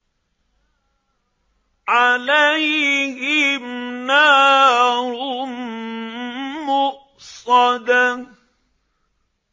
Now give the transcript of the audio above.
عَلَيْهِمْ نَارٌ مُّؤْصَدَةٌ